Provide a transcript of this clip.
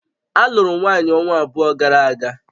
Alụụrụ m nwanyị ọnwa abụọ gara aga